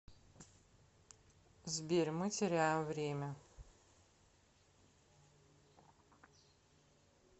сбер мы теряем время